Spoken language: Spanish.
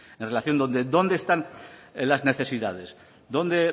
en relación de dónde están las necesidades dónde